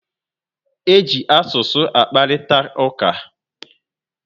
E ji asụsụ akparitauka